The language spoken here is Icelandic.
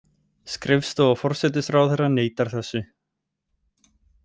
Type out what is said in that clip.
Skrifstofa forsætisráðherra neitar þessu